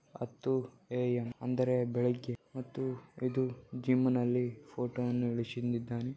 ಹತ್ತು ಎ_ಎಂ ಅಂದರೆ ಬೆಳಿಗ್ಗೆ ಮತ್ತು ಇದು ಜಿಮ್ಮಿನಲ್ಲಿ ಫೋಟೋವನ್ನು ಇಳಿಶಿದ್ದಾನೆ.